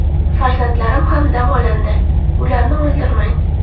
Farzandlarim ham davolandi, ularni o‘ldirmang.